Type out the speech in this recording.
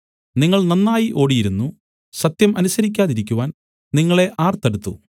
നിങ്ങൾ നന്നായി ഓടിയിരുന്നു സത്യം അനുസരിക്കാതിരിക്കുവാൻ നിങ്ങളെ ആർ തടുത്തു